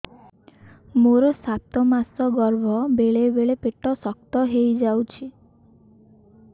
ମୋର ସାତ ମାସ ଗର୍ଭ ବେଳେ ବେଳେ ପେଟ ଶକ୍ତ ହେଇଯାଉଛି